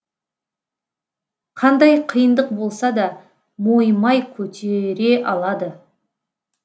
қандай қиындық болсада мойымай көтере алады